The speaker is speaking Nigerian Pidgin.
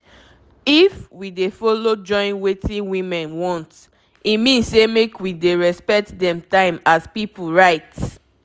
if we follow join wetin women want e mean say make we dey respect dem time as pipu right